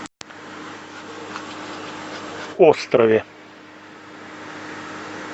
острове